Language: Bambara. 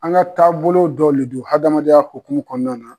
An ka taabolo dɔ le don hadamadenya hokumu kɔɔna na